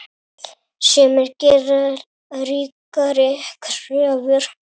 Sumir gera ríkari kröfur.